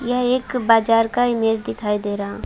यह एक बजार का इमेज दिखाई दे रहा--